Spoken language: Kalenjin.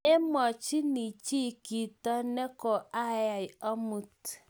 Mumamwachini chi kito ne koayai amut